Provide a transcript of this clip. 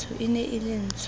e ne e le ntsho